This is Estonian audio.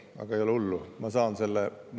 Aga ei ole hullu, ma saan selle …